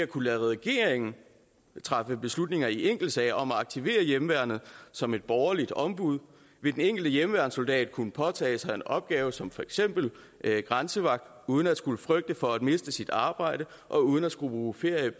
kunne lade regeringen træffe beslutninger i enkeltsager om at aktivere hjemmeværnet som et borgerligt ombud vil den enkelte hjemmeværnssoldat kunne påtage sig en opgave som for eksempel grænsevagt uden at skulle frygte for at miste sit arbejde og uden at skulle bruge feriedage